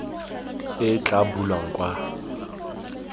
e e tla bulwang kwa